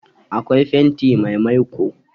Akwai fenti mai maiko